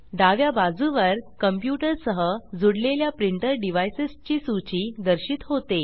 डाव्या बाजुवर कंप्यूटर सह जुडलेल्या प्रिंटर डिवाइसस ची सूची दर्शित होते